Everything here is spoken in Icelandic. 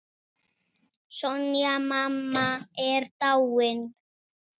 Sonja mamma er dáinn.